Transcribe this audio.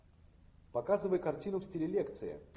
показывай картину в стиле лекции